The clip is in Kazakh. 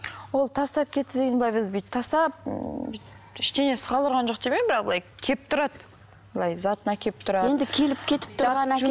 ол тастап кетті деген былай бізді бүйтіп тастап ммм ештеңесіз қалдырған жоқ демеймін бірақ былай келіп тұрады былай затын әкеліп тұрады енді келіп кетіп тұр